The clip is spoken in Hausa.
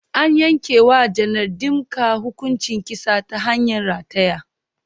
An yanke wa Janar Dimka hukuncin kisa ta hanyar rataya.